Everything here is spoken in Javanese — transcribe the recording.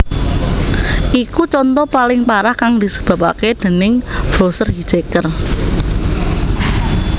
Iku conto paling parah kang disebapaké déning browser hijacker